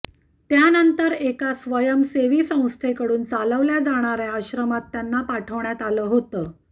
त्यानंतर एका स्वयंसेवी संस्थेकडून चालवल्या जाणाऱ्या आश्रमात त्यांना पाठवण्यात आलं होतं